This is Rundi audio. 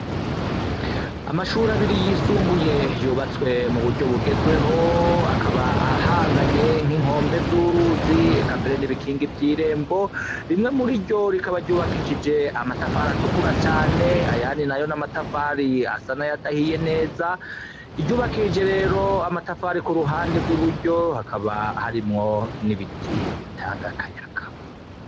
Amashuri abiri yisumbuye yubatswe mu buryo bugezweho akaba ahanganye nk'inkombe z'uruzi eka mbere n'ibikingi vy'irembo rimwe muri ryo rikaba ryubakishije amatafari atukura cane ayandi nayo n'amatafari asa nay'adahiye neza iryubakishije rero amatafari kuruhande ry'iburyo hakaba harimwo n'ibiti bitanga akayaka.